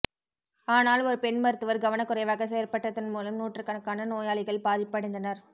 ஆனால் ஒரு பெண் மருத்துவர் கவன குறைவாக செயற்பட்டதன் மூலம் நூற்றுக்கான நோயாளிகள் பாதிப்படைந்தனர்